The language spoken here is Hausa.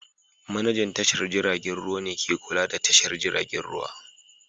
Manajan tashar jiragen ruwa ne ke kula da tashar jiragen ruwa